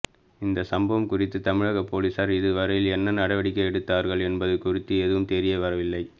இந்தச் சம்பவம் குறித்து தமிழகப் பொலிஸார் இதுவரையில் என்ன நடவடிக்கை எடுத்தார்கள் என்பது குறித்து எதுவும் தெரியவரவில்லை